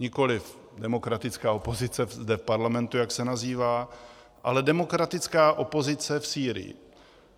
Nikoliv demokratická opozice zde v parlamentu, jak se nazývá, ale demokratická opozice v Sýrii.